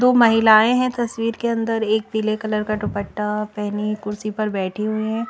दो महिलाएं हैं तस्वीर के अंदर एक पीले कलर का दुपट्टा पहनी कुर्सी पर बैठी हुई हैं।